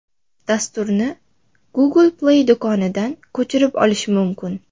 Dasturni Google Play do‘konidan ko‘chirib olish mumkin .